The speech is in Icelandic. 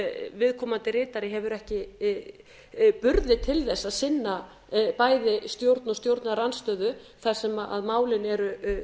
viðkomandi ritari hefur ekki burði til þess að sinna bæði stjórn og stjórnarandstöðu þar sem málin eru